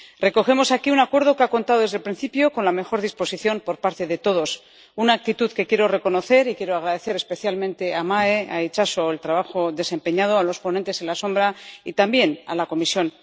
Recogemos aquí un acuerdo que ha contado desde el principio con la mejor disposición por parte de todos, una actitud que quiero reconocer y quiero agradecer especialmente a Itxaso y Mae el trabajo desempeñado, a los ponentes alternativos y también a la Comisión.